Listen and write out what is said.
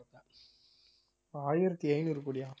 ஆயிரத்தி ஐந்நூறு கோடியா